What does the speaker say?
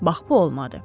Bax bu olmadı.